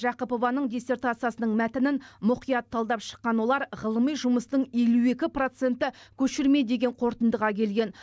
жақыпованың диссертациясының мәтінін мұқият талдап шыққан олар ғылыми жұмыстың елу екі проценті көшірме деген қорытындыға келген